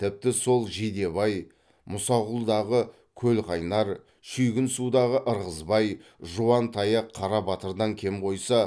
тіпті сол жидебай мұсақұлдағы көлқайнар шүйгінсудағы ырғызбай жуантаяқ қарабатырдан кем қойса